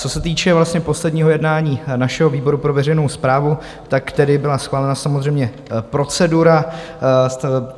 Co se týče vlastně posledního jednání našeho výboru pro veřejnou správu, tak tedy byla schválena samozřejmě procedura.